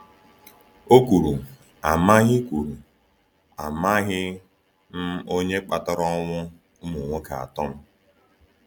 O kwuru: ‘Amaghị kwuru: ‘Amaghị m onye kpatara ọnwụ ụmụ nwoke atọ m.’